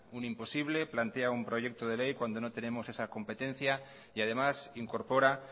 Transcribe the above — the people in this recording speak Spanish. un imposible plantea un proyecto de ley cuando no tenemos esa competencia y además incorpora